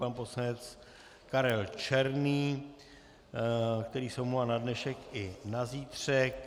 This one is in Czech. Pan poslanec Karel Černý, který se omlouvá na dnešek i na zítřek.